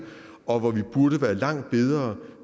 og hvor vi burde være langt bedre